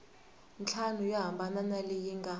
ntlhanu yo hambana leyi nga